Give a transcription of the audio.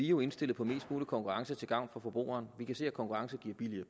jo indstillet på mest mulig konkurrence til gavn for forbrugeren vi kan se at konkurrence giver